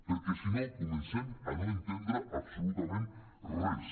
perquè si no comencem a no entendre absolutament res